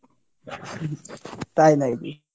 তাই নাকি?